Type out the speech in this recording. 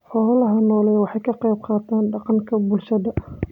Xoolaha nooli waxa ay ka qayb qaataan dhaqanka bulshada.